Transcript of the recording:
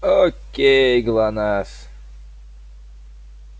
окей глонассс